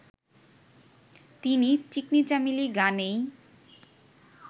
তিনি 'চিকনি চামেলি' গানেই